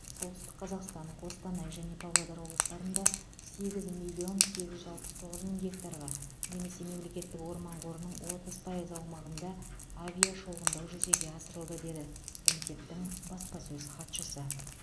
солтүстік қазақстан қостанай және павлодар облыстарында сегіз миллион сегіз жүз алпыс тоғыз мың гектарға немесе мемлекеттік орман қорының отыз пайыз аумағына авиашолғындау жүзеге асырылды деді комитеттің баспасөз хатшысы